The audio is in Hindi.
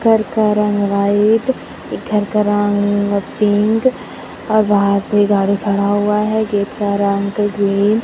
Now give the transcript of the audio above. घर का रंग व्हाइट एक घर का रंग पिंक और बाहर पे गाड़ी खड़ा हुआ है गेट का रंग ग्रीन --